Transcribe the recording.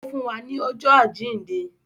Ó fún wa ní ọjọ́ àjíǹde